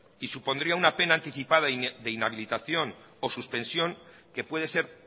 y supondría una pena anticipada de inhabilitación o suspensión que puede ser